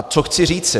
A co chci říci?